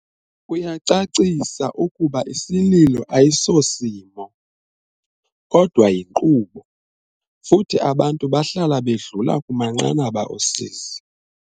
Uyacacisa ukuba isililo ayi sosimo, kodwa yinkqubo, futhi abantu bahlala bedlula kumanqanaba osizi.